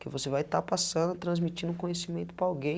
Que você vai estar passando, transmitindo o conhecimento para alguém.